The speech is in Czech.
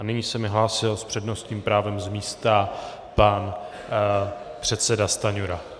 A nyní se mi hlásil s přednostním právem z místa pan předseda Stanjura.